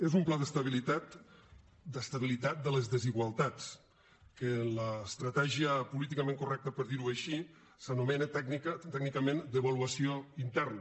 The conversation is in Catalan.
és un pla d’estabilitat de les desigualtats que en l’estratègia políticament correcta per dir ho així s’anomena tècnicament devaluació interna